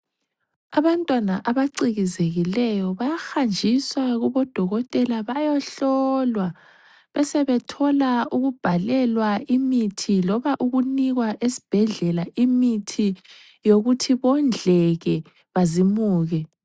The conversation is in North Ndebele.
Abantwana abacikizekileyo bayahanjiswa kubodokotela bayohlolwa, besebethola ukubhalelwa imithi loba ukunikwa esibhedlela imithi yokuthi bondleke bazimuke.